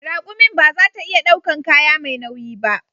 Rakumin ba za ta iya daukan kaya mai nauyi ba